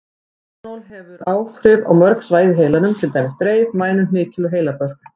Etanól hefur áhrif á mörg svæði í heilanum, til dæmis dreif, mænu, hnykil og heilabörk.